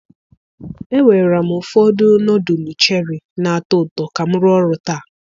ewera m ụfọdụ nọdụlụ cheri na-atọ ụtọ ka m rụọ ọrụ taa.